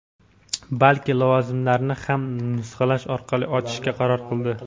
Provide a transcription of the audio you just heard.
balki lavozimlarini ham nusxalash orqali ochishga qaror qildi.